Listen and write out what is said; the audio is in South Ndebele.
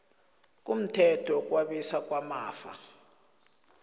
kumthetho wokwabiwa kwamafa